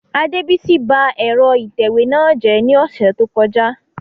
Adebisi ba ẹ̀rọ ìtẹ̀wé náà jẹ́ ní ọ̀sẹ̀ tó kọjá